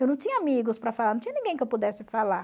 Eu não tinha amigos para falar, não tinha ninguém que eu pudesse falar.